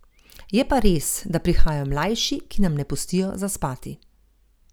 Je pa res, da prihajajo mlajši, ki nam ne pustijo zaspati.